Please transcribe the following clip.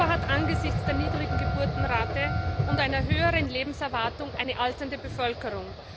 Europa hat angesichts der niedrigen Geburtenrate und einer höheren Lebenserwartung eine alternde Bevölkerung.